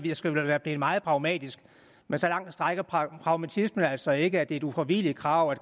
jeg skal være blevet meget pragmatisk men så langt strækker pragmatismen altså ikke at det er et ufravigeligt krav at